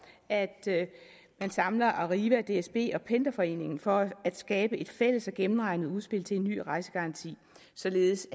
at man samler arriva dsb og pendlerforeningen for at skabe et fælles og gennemregnet udspil til en ny rejsegaranti således